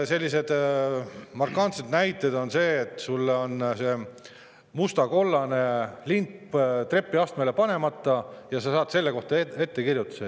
Markantne näide on, et sul on see musta‑kollase lint trepiastmele panemata ja sa saad selle kohta ettekirjutuse.